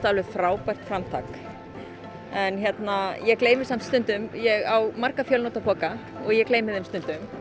alveg frábært framtak ég gleymi samt stundum ég á marga fjönotapoka og ég gleymi þeim stundum